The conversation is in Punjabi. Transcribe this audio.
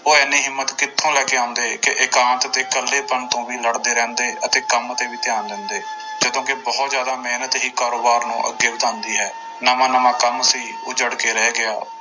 ਉਹ ਇੰਨੀ ਹਿੰਮਤ ਕਿੱਥੋਂ ਲੈ ਕੇ ਆਉਂਦੇ ਕਿ ਇਕਾਂਤ ਤੇ ਇਕੱਲੇਪਨ ਤੋਂ ਵੀ ਲੜਦੇ ਰਹਿੰਦੇ ਅਤੇ ਕੰਮ ਤੇ ਵੀ ਧਿਆਨ ਦਿੰਦੇ ਜਦੋਂ ਕਿ ਬਹੁਤ ਜ਼ਿਆਦਾ ਮਿਹਨਤ ਹੀ ਕਾਰੋਬਾਰ ਨੂੰ ਅੱਗੇ ਵਧਾਉਂਦੀ ਹੈ, ਨਵਾਂ ਨਵਾਂ ਕੰਮ ਸੀ ਉਜੜ ਕੇ ਰਹਿ ਗਿਆ।